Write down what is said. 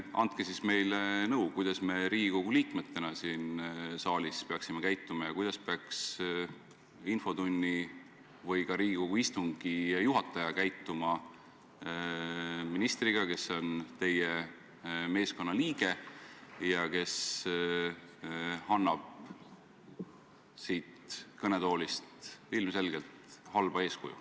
Andke siis meile nõu, kuidas me Riigikogu liikmetena siin saalis peaksime käituma ja kuidas peaks infotunni või ka Riigikogu istungi juhataja käituma ministriga, kes on teie meeskonna liige ja annab siit kõnetoolist ilmselgelt halba eeskuju.